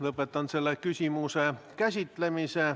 Lõpetan selle küsimuse käsitlemise.